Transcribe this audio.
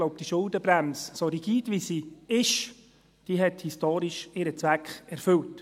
Ich glaube, diese Schuldenbremse – so rigide sie ist – hat historisch ihren Zweck erfüllt.